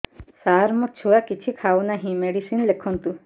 ସାର ମୋ ଛୁଆ କିଛି ଖାଉ ନାହିଁ ମେଡିସିନ ଲେଖନ୍ତୁ